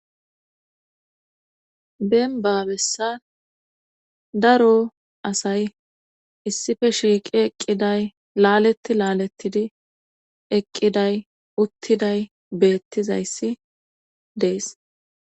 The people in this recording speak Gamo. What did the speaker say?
Deemba bessan daro asay issife shiiqi eqqiday laaletti laalettidi eqqiday uttiday beettizayssi dees